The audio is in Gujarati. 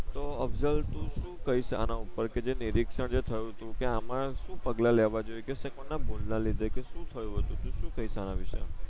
તો અફઝલ તુ શું કઈશ આના ઉપર કે જે નિરીકશન જે થયુતુ કે આમાં શું પગલાં લેવા જોઈએ કેસે કોણ ભૂલ ના લીધે કે શું થયું હતું તુ શું કઇસ આના વિષે